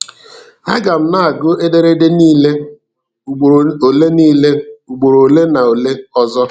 A ga m na-agụ ederede niile ugboro ole niile ugboro ole na ole ọzọ.